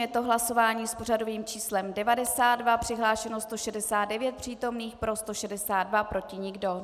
Je to hlasování s pořadovým číslem 92, přihlášeno 169 přítomných, pro 162, proti nikdo.